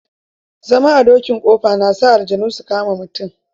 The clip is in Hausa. Zama a dokin ƙofa na sa aljannu su kama mutum.